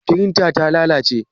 Firintar ta lalace?